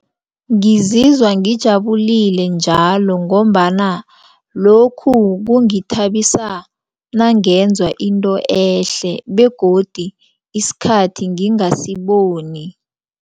Ngizizwa ngijabulile njalo ngombana lokhu kungithabisa nangenza into ehle begodu isikhathi ngingasiboni.